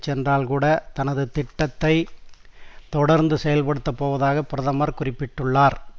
சென்றால் கூட தனது திட்டத்தை தொடர்ந்தும் செயல்படுத்தப் போவதாக பிரதமர் குறிப்பிட்டுள்ளார்